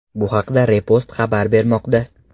Bu haqda Repost xabar bermoqda .